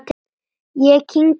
Ég kyngdi lofti.